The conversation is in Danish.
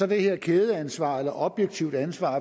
det her kædeansvar eller objektive ansvar